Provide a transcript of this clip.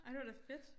Ej det var da fedt